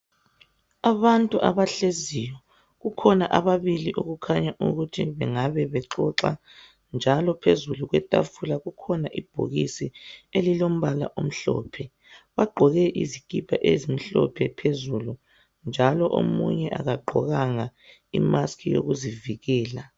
Abantu abahleziyo. Kukhona ababili, okukhanya ukuthi bengabe bexoxa, njalo phezulu kwetafula kukhona ibhokisi elilombala omhlophe. Bagqoke izikipa ezimhlophe phezulu., njalo omunye akagqokanga imask yokuzivikela.